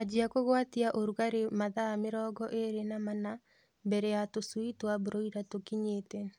Anjia kũgwatia urũgarĩ mathaa mĩrongo ĩlĩ na mana mbele ya tũshui twa broila tũkinyĩte